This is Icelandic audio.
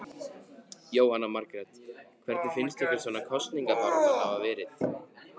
Jóhanna Margrét: Hvernig finnst ykkur svona kosningabaráttan hafa verið?